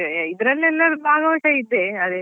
ನಾನಂದ್ರೆ college ಅಲ್ಲಿಆದ್ರೆ ಅದೇ ಇದ್ರಲ್ಲಿ ಎಲ್ಲ ಭಾಗವಹಿಸ್ತಾ ಇದ್ದೆ.